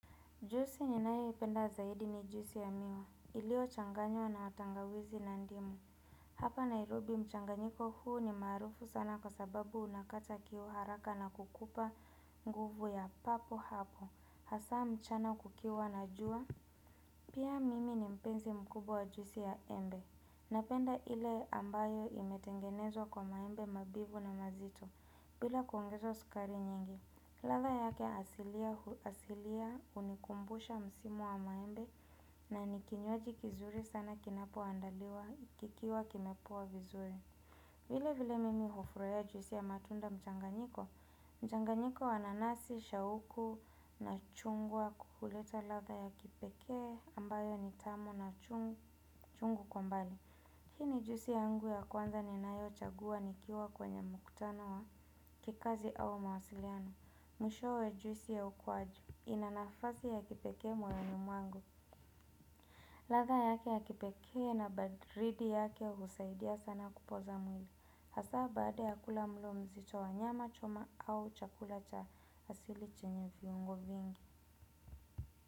Jusi ninayoipenda zaidi ni jusi ya miwa iliochanganywa na tangawizi na ndimu. Hapa Nairobi mchanganyiko huu ni maarufu sana kwa sababu unakata kiu haraka na kukupa nguvu ya papo hapo hasa mchana kukiwa na juwa. Pia mimi ni mpenzi mkubwa wa jusi ya embe. Napenda ile ambayo imetengenezwa kwa maembe mabivu na mazito bila kuongeza sukari nyingi. Ladha yake asilia unikumbusha msimu wa maembe na ni kinywaji kizuri sana kinapoandaliwa kikiwa kimepoa vizuri. Vile vile mimi hufurahia jwisi ya matunda mchanganyiko, mchanganyiko wa nanasi, shauku na chungwa huleta ladha ya kipekee ambayo ni tamu na chungu kwa mbali. Hii ni jusi yangu ya kwanza ninayochagua nikiwa kwenye mkutano wa kikazi au mawasiliano, mwishowe juisi ya ukwaju, ina nafasi ya kipekee moyoni mwangu. Ladha yake ya kipekee na badridi yake husaidia sana kupoza mwili, hasaa baada ya kula mlo mzito wa nyama choma au chakula cha hasili chenye viungo vingi.